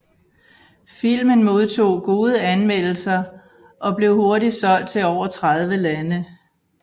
Filmen modtog gode anmeldelser og blev hurtigt solgt til over 30 lande